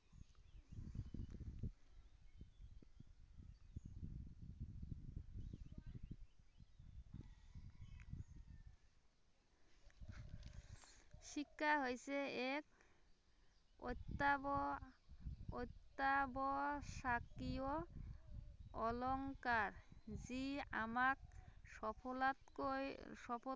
শিক্ষা হৈছে এক অত্য়াৱ অত্য়াৱশ্য়কীয় অলংকাৰ যি আমাক সকলোতকৈ